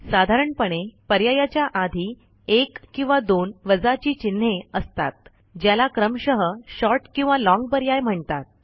साधारणपणे पर्यायाच्या आधी एक किंवा दोन वजाची चिन्हे असतात ज्याला क्रमशः शॉर्ट किंवा लाँग पर्याय म्हणतात